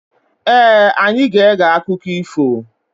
Ee, anyị ga-ege akụkọ ifo.